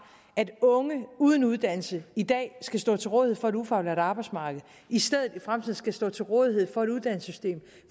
at unge uden uddannelse i dag skal stå til rådighed for et ufaglært arbejdsmarked i stedet i fremtiden skal stå til rådighed for et uddannelsessystem